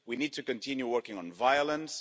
We need to continue working on violence